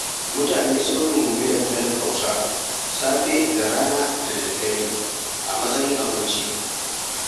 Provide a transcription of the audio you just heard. Mutane sun rungumi dankalin Hausa safe da rana da dare a matsayin abinci.